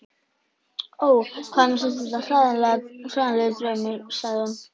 Ó, hvað mér finnst þetta hræðilegur draumur, sagði hún